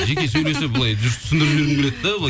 жеке сөйлесіп былай дұрыс түсіндіріп жібергім келеді де